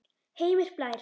Heimir Blær.